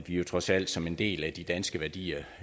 jo trods alt som en del af de danske værdier